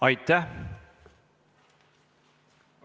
Aitäh!